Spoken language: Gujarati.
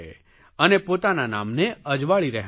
અને પોતાના નામને અજવાળી રહ્યાં છે